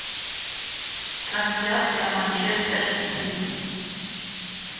трансляция манчестер и сити